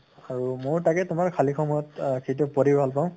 আৰু ময়ো তাকে তোমাৰ খালি সময়ত আহ কিপাত পঢ়ি ভাল পাওঁ